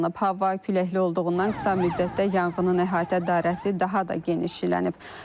Hava küləkli olduğundan qısa müddətdə yanğının əhatə dairəsi daha da genişlənib.